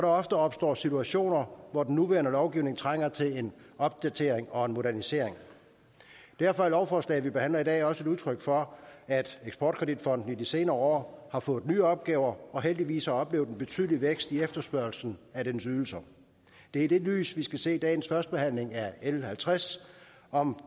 ofte opstår situationer hvor den nuværende lovgivning trænger til en opdatering og en modernisering derfor er lovforslaget vi behandler i dag også et udtryk for at eksport kredit fonden i de senere år har fået nye opgaver og heldigvis har oplevet en betydelig vækst i efterspørgslen på dens ydelser det er i det lys vi skal se dagens førstebehandling af l halvtreds om